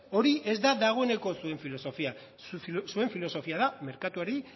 hori ez da dagoeneko zuen filosofia zuen filosofia da merkatuari